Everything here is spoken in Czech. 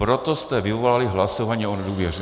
Proto jste vyvolali hlasování o nedůvěře.